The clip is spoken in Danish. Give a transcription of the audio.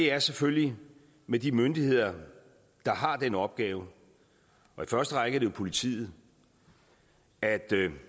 er selvfølgelig med de myndigheder der har den opgave og i første række er det jo politiet at